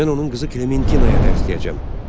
Mən onun qızı Klementinaya dərs deyəcəm.